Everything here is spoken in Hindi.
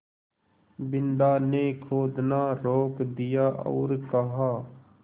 बिन्दा ने खोदना रोक दिया और कहा